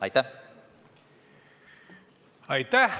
Aitäh!